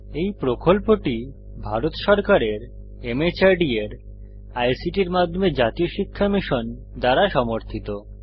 এই প্রকল্পটি ভারত সরকারের মাহর্দ এর আইসিটির মাধ্যমে জাতীয় শিক্ষা মিশন দ্বারা সমর্থিত